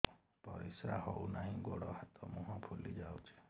ପରିସ୍ରା ହଉ ନାହିଁ ଗୋଡ଼ ହାତ ମୁହଁ ଫୁଲି ଯାଉଛି